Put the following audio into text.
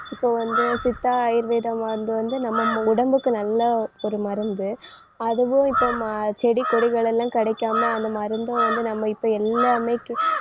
இப்ப வந்து சித்தா ஆயுர்வேத மருந்து வந்து நம்ம மு~ உடம்புக்கு நல்ல ஒரு மருந்து அதுவும் இப்ப ம~ செடி கொடிகளெல்லாம் கிடைக்காம அந்த மருந்த வந்து நம்ம இப்ப எல்லாமே q~